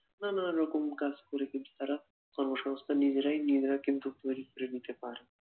নানারকম কাজ করে কিন্তু তারা কর্মসংস্থান নিজেরাই নিজেরা কিন্তু তৈরী করে নিতে পারে